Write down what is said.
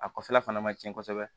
A kɔfɛla fana man tiɲɛ kosɛbɛ